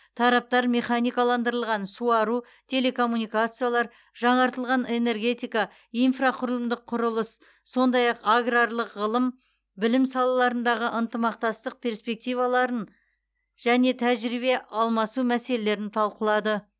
тараптар механикаландырылған суару телекоммуникациялар жаңартылатын энергетика инфрақұрылымдық құрылыс сондай ақ аграрлық ғылым білім салаларындағы ынтымақтастық перспективаларын және тәжірибе алмасу мәселелерін талқылады